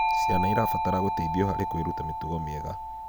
Ciana irabatara gũteithio harĩ kwiruta mitugo miega